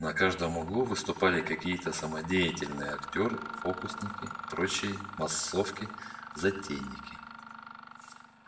на каждом углу выступали какие-то самодеятельные актёры фокусники прочие массовки затейники